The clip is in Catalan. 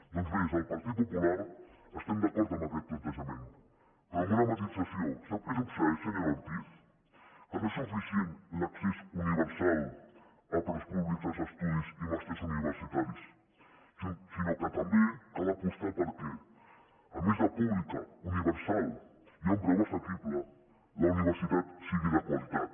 doncs bé des del partit popular estem d’acord amb aquest plantejament però amb una matisació sap què succeeix senyora ortiz que no és suficient l’accés universal a preus públics als estudis i màsters universitaris sinó que també cal apostar perquè a més de pública universal i a un preu assequible la universitat sigui de qualitat